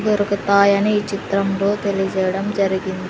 దొరకతాయని ఈ చిత్రంలో తెలియజేయడం జరిగింది.